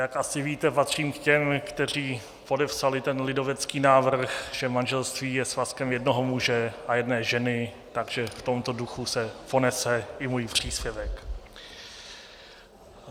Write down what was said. Jak asi víte, patřím k těm, kteří podepsali ten lidovecký návrh, že manželství je svazkem jednoho muže a jedné ženy, takže v tomto duchu se ponese i můj příspěvek.